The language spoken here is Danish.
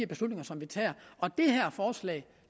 beslutninger som vi tager